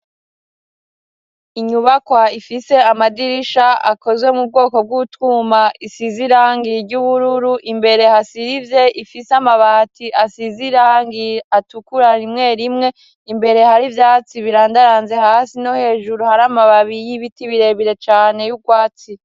inyubakwa ifise amadirisha akozwe mu bwoko bw'utuma isizirangi ry'ubururu imbere hasiribye ifise amabati asizirangi atukura rimwe rimwe imbere hari byatsi birandaranze hasi no hejuru hari amababi y'ibiti birebire cane y'ubwatsi.